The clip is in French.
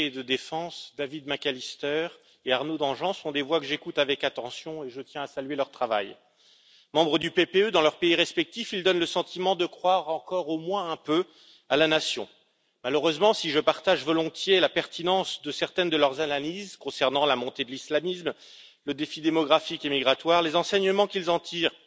Madame la Présidente, en matière de diplomatie, de sécurité et de défense, David McAllister et Arnaud Danjean sont des voix que j'écoute avec attention et je tiens à saluer leur travail. Membres du PPE dans leurs pays respectifs, ils donnent le sentiment de croire encore au moins un peu à la nation. Malheureusement, si je partage volontiers la pertinence de certaines de leurs analyses concernant la montée de l'islamisme et le défi démographique et migratoire, les enseignements qu'ils en tirent